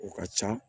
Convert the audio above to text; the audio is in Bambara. O ka ca